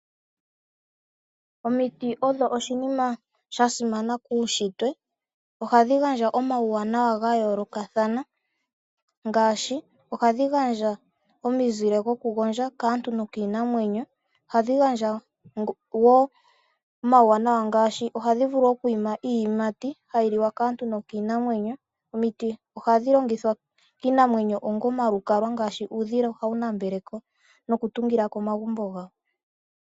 Omiti odho oshinima shasimana muushitwe. Oshasimana molwaashoka ohashi gandja omauwanawa gayoolokathana ngaashi omizile dhaantu niinamwenyo, iiyimati yaantu niinamwenyo , ohayi longithwa ongo omalukalwa kiinamwenyo, unene tuu uudhila mboka hawu tungileko.